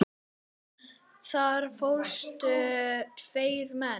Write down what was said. Þar fórust tveir menn.